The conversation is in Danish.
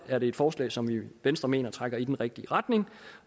er det et forslag som vi i venstre mener trækker i den rigtige retning